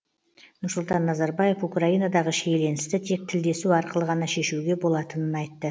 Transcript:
нұрсұлтан назарбаев украинадағы шиеленісті тек тілдесу арқылы ғана шешуге болатынын айтты